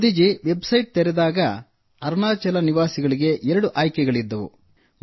Modi ji website ತೆರೆದಾಗ ಅರುಣಾಚಲದ ನಿವಾಸಿಗಳಿಗೆ ಎರಡು ಆಯ್ಕೆಗಳಿದ್ದವು